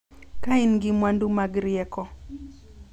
Ka in gi mwandu mag rieko.